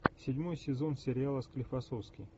седьмой сезон сериала склифосовский